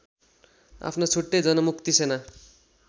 आफ्नो छुट्टै जनमुक्ति सेना